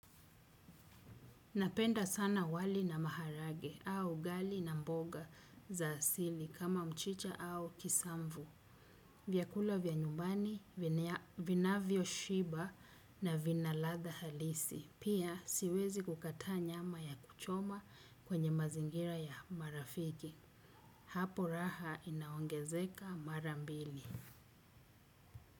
Napenda sana wali na maharage au ugali na mboga za asili kama mchicha au kisamvu. Vyakula vya nyumbani, vinavyo shiba na vinaladha halisi. Pia siwezi kukata nyama ya kuchoma kwenye mazingira ya marafiki. Hapo raha inaongezeka marambili.